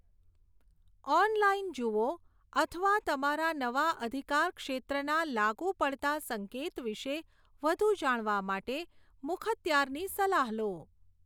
Online જુઓ અથવા તમારા નવા અધિકારક્ષેત્રના લાગુ પડતા સંકેત વિશે વધુ જાણવા માટે મુખત્યારની સલાહ લો.